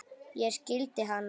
En ég skildi hana.